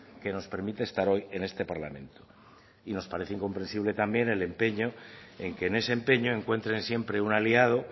que nos permite estar hoy en este parlamento y nos parece incomprensible también el empeño en que en ese empeño encuentren siempre un aliado